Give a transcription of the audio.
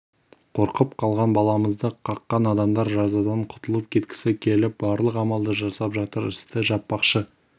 қорқып қалған баламызды қаққан адамдар жазадан құтылып кеткісі келіп барлық амалды жасап жатыр істі жаппақшы